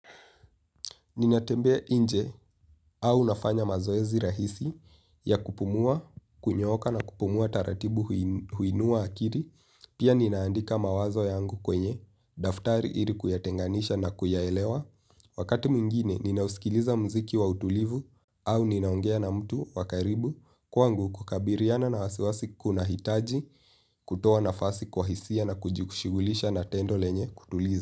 Ninatembea nje au nafanya mazoezi rahisi ya kupumua, kunyoka na kupumua taratibu huinua akili, pia ninaandika mawazo yangu kwenye, daftari ili kuya enganisha na kuyaelewa. Wakati mwingine, ninausikiliza mziki wa utulivu au ninaongea na mtu wakaribu kwangu kukabiliana na wasiwasi kuna hitaji kutoa nafasi kwa hisia na kujikushigulisha na tendo lenye kutuliza.